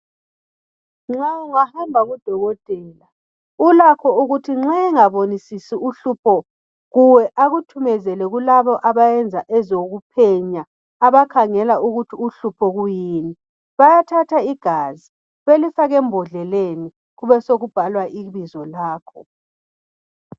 Nxa ungahamba kudokotela ulakho ukuthi nxa engabonisisi uhlupho kuwe akuthumezele kulabo abayenza ezokuphenya abakhangela ukuthi uhlupho kuyini Bayathatha igazi belifake embodleleni kubesokubhalwa ibizo lakho